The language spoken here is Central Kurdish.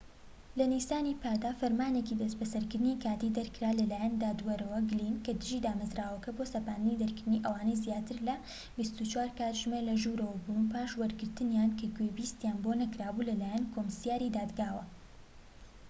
لە نیسانی پاردا، فەرمانێکی دەستبەسەرکردنی کاتیی دەرکرا لەلایەن دادوەر گلین لە دژی دامەزراوەکە بۆ سەپاندنی دەرکردنی ئەوانەی زیاتر لە ٢٤ کاتژمێر لەژوورەوە بوون پاش وەرگرتنیان کە گوێبیستییان بۆ نەکرابوو لەلایەن کۆمسیاری دادگاوە